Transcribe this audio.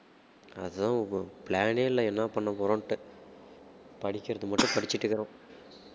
அதான் bro plan ஏ இல்லை என்ன பண்ண போறோம்ன்னுட்டு படிக்கிறது மட்டும் படிச்சுட்டு இருக்குறோம்